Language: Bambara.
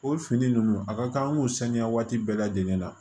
O fini ninnu a ka kan an k'o saniya waati bɛɛ lajɛlen na